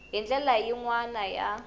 hi ndlela yin wana ya